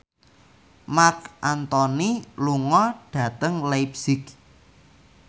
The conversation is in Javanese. Marc Anthony lunga dhateng leipzig